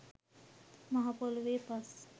මහපොළොවේ පස්